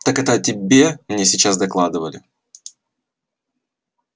так это о тебе мне сейчас докладывали